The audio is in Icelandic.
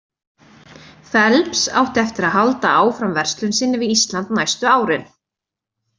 Phelps átti eftir að halda áfram verslun sinni við Ísland næstu árin.